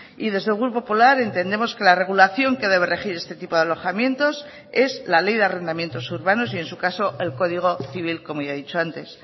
y desde el grupo popular entendemos que la regulación que debe regir este tipo de alojamientos es la ley de arrendamientos urbanos y en su caso el código civil como ya he dicho antes